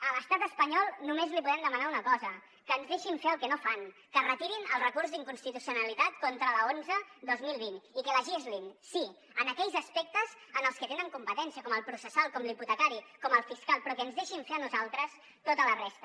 a l’estat espanyol només li podem demanar una cosa que ens deixin fer el que no fan que retirin el recurs d’inconstitucionalitat contra l’onze dos mil vint i que legislin sí en aquells aspectes en els que tenen competència com el processal com l’hipotecari com el fiscal però que ens deixin fer a nosaltres tota la resta